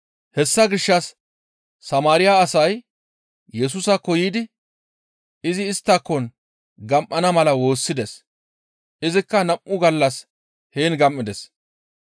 Hessa gishshas Samaariya asay Yesusaakko yiidi izi isttakon gam7ana mala woossides; izikka nam7u gallas heen gam7ides.